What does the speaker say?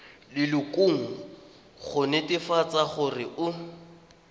lelokong go netefatsa gore o